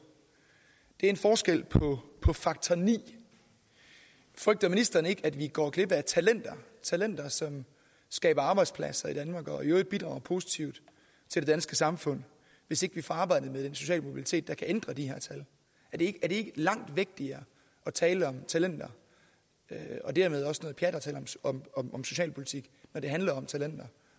er en forskel på på faktor niende frygter ministeren ikke at vi går glip af talenter talenter som skaber arbejdspladser i danmark og i øvrigt bidrager positivt til det danske samfund hvis ikke vi får arbejdet med den sociale mobilitet der kan ændre de her tal er det ikke langt vigtigere at tale om talenter og dermed også noget pjat at tale om socialpolitik når det handler om talenter